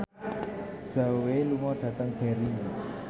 Zhao Wei lunga dhateng Derry